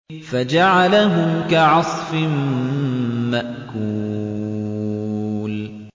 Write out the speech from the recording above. فَجَعَلَهُمْ كَعَصْفٍ مَّأْكُولٍ